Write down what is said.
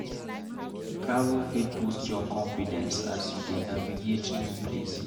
Travel fit boost your confidence as you dey navigate new places.